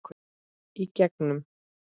Í gegnum